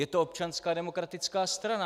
Je to Občanská demokratická strana.